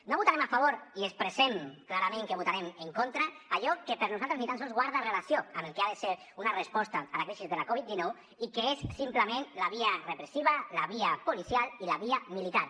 no votarem a favor i expressem clarament que hi votarem en contra d’allò que per nosaltres ni tan sols guarda relació amb el que ha de ser una resposta a la crisi de la covid dinou i que és simplement la via repressiva la via policial i la via militar